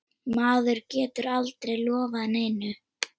Maður getur aldrei lofað neinu.